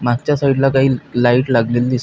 मागच्या साइड ला काही लाइट लागलेले दिस--